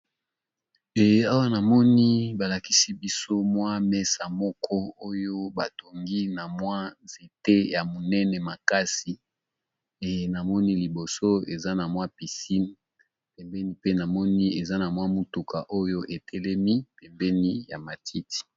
Ee awa namoni balakisi biso mwa mesa moko oyo ba tongi na mwa nzete ya monene makasi e namoni liboso eza na mwa piscine pembeni pe namoni eza na mwa mutuka oyo etelemi pembeni ya matiti.